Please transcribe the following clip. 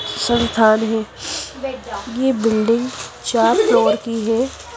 संथान है यह बिल्डिंग चार फ्लोर की है।